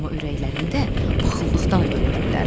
Amma ürəklərində paxıllıqdan ölürdülər.